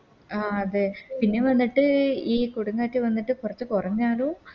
ആ അതെ പിന്നെ വന്നിട്ട് ഈ കൊടുംകാറ്റ് വന്നിട്ട് പൊറത്ത് കൊറഞ്ഞാലും